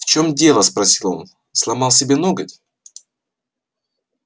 в чем дело спросил он сломал себе ноготь